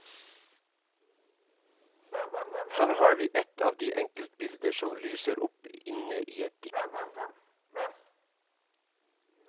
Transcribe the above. Her har vi et av de enkeltbilder som lyser opp inne i et dikt.